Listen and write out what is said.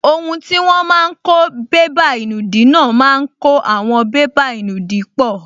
Ohun tí wọ́n máa n kó bébà ìnùdí náà máa kó àwọn bébà ìnùdí pọ̀